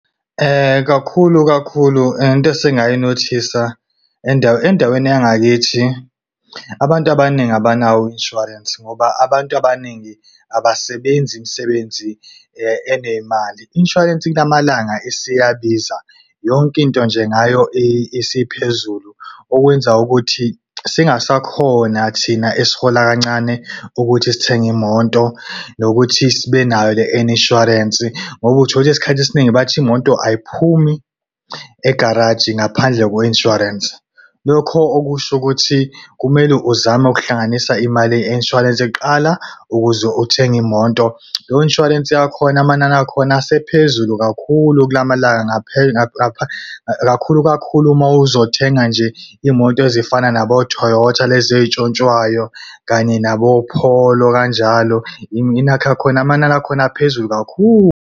Kakhulu kakhulu, into esingayi-notice-a endaweni yangakithi, abantu abaningi abanawo u-insurance, ngoba abantu abaningi abasebenzi imisebenzi enemali. I-insurance kulamalanga isiyabiza yonke into nje ngayo isiphezulu. Okwenza ukuthi singasakhona thina esihola kancane ukuthi sithenge imoto nokuthi sibe nayo le insurance. Ngoba uthola isikhathi esiningi bathi imoto ayiphumi egaraji ngaphandle kwe-insurance. Lokho okusho ukuthi kumele uzame ukuhlanganisa imali ye-insurance kuqala ukuze uthenge imoto. Leyo insurance yakhona amanani akhona asephezulu kakhulu kulamalanga. Kakhulu kakhulu uma uzothenga nje imoto ezifana nabo-Toyota, lezi eyintshontshwayo kanye nabo-Polo, kanjalo inakhu yakhona, amanani akhona aphezulu kakhulu.